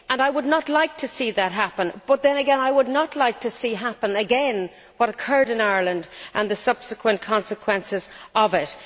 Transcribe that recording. I would not like to see that happen, but then again I would not like to see happen again what occurred in Ireland and the subsequent consequences of it.